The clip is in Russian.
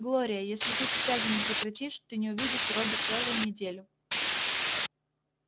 глория если ты сейчас же не прекратишь ты не увидишь робби целую неделю